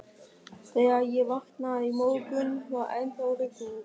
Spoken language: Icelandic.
Þegar ég vaknaði í morgun, var ennþá rigning.